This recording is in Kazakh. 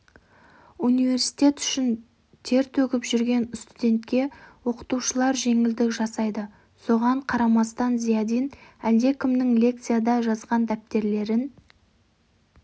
университет үшін тер төгіп жүрген студентке оқытушылар жеңілдік жасайды соған қарамастын зиядин әлдекімдердің лекцияда жазған дәптерлерін